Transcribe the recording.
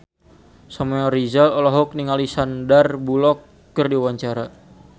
Samuel Rizal olohok ningali Sandar Bullock keur diwawancara